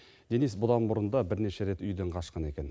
денис бұдан бұрын да бірнеше рет үйден қашқан екен